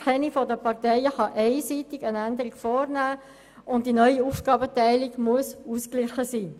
Keine der Parteien kann einseitig eine Änderung vornehmen, und die neue Aufgabenteilung muss ausgeglichen sein.